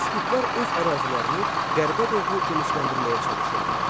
İskitlər öz ərazilərini qərbə doğru genişləndirməyə çalışırdılar.